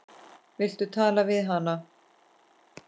Viltu tala við hana?